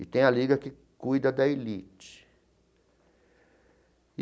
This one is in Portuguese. e tem a liga que cuida da elite.